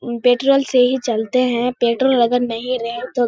petrol से ही चलते हैं पेट्रोल अगर नहीं रहे तो --